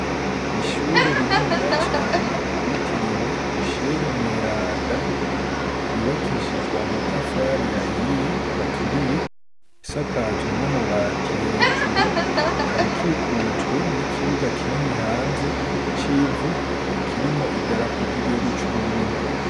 Ishure rininiya cane ryitiriwe Misheri mweranda ryubakishijwe amatafari ahiye aturiye, isakajwe n'amabati hejuru, ikaba ikikujwe n'ikibuga kinini hanze c'ivu, kirimwo idarapo ry'igihugu c'Uburundi.